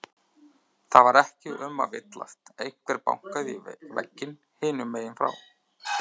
Það var ekki um að villast, einhver bankaði í vegginn hinum megin frá.